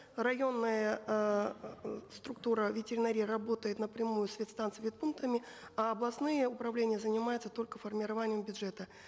районная эээ структура ветеринарии работает напрямую с вет станцией вет пунктами а областные управления занимаются только формированием бюджета